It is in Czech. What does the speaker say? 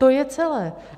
To je celé.